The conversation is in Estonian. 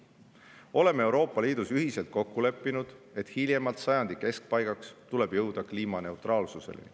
Oleme Euroopa Liidus ühiselt kokku leppinud, et hiljemalt sajandi keskpaigaks tuleb jõuda kliimaneutraalsuseni.